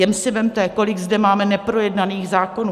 Jen si vezměte, kolik zde máme neprojednaných zákonů.